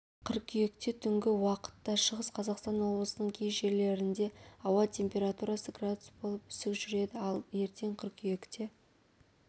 қыркүйекте тұнгі уақытташығыс қазақстан облысының кей жерлерінде ауа температурасы градус болып үсік жүреді ал ертең қыркүйекте